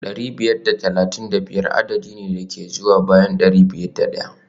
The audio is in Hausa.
dari biyar da talatin da biyar adadi ne da ke zuwa bayan dari biyar da daya